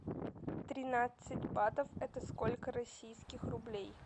тринадцать батов это сколько российских рублей